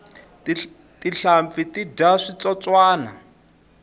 tinhlampfi ti dya switsotswani